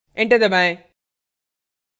enter दबाएं